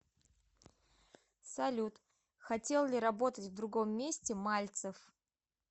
салют хотел ли работать в другом месте мальцев